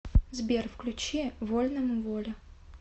сбер включи вольному воля